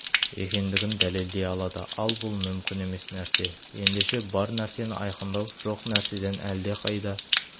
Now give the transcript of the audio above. екендігін дәлелдей алады ал бұл мүмкін емес нәрсе ендеше бар нәрсені айқындау жоқ нәрседен әлдеқайда